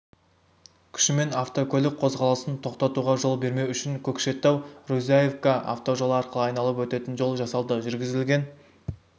күшімен автокөлік қозғалысын тоқтатуға жол бермеу үшін көкшетау-рузаевка автожолы арқылы айналып өтетін жол жасалды жүргізілген